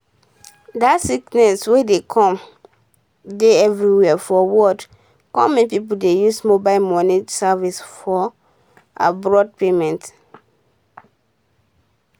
dat sickness um wey come dey every where for world come make pipo dey use mobile moni service for abroad payment